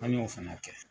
An y'o fana kɛ